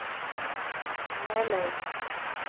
Nelaug